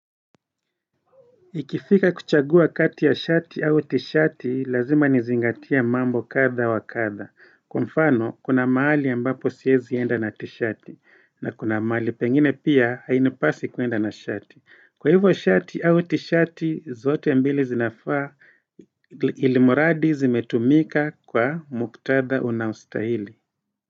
Ikifika kuchagua kati ya shati au tishati, lazima nizingatia mambo katha wa katha, kwa mfano kuna mahali ambapo siwezi enda na tishati, na kuna mahali pengine pia hainipasi kuenda na shati. Kwa hivyo shati au tishati, zote mbili zinafaa ilimuradi zimetumika kwa muktadha unaostahili.